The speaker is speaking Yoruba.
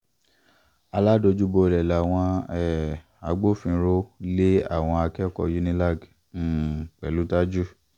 aládojúbolẹ̀ làwọn um agbófinró lé àwọn akẹ́kọ̀ọ́ unilag um pẹ̀lú tajú